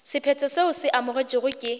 sephetho seo se amogetšwego ke